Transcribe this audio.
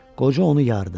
Qoca onu yardı.